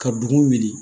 Ka dugu wuli